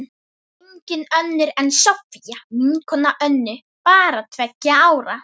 Engin önnur en Soffía, vinkona Önnu, bara tveggja ára.